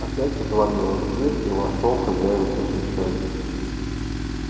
опять отворилась дверь и вошёл хозяин со свечой